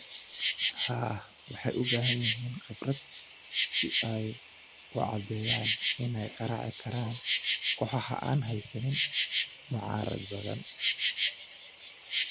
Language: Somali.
Haa, waxay u baahan yihiin khibrad si ay u caddeeyaan inay garaaci karaan kooxaha aan haysan mucaarad badan.